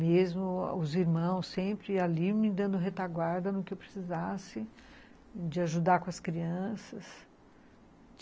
Mesmo os irmãos sempre ali me dando retaguarda no que eu precisasse de ajudar com as crianças.